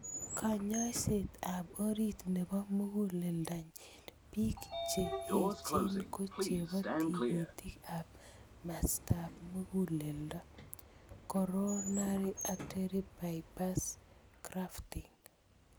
Kanyoiset ap orit nepo muguleldo ing pik che echen ko chebo tigitik ap mastap muguleldo.(coronary artery bypass grafting)